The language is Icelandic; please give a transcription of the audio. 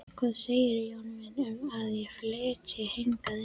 Hvað segirðu, Jón minn, um að ég flytji hingað inn